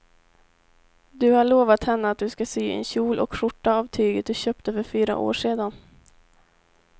Du har lovat henne att du ska sy en kjol och skjorta av tyget du köpte för fyra år sedan.